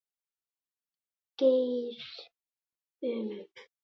Geir Um.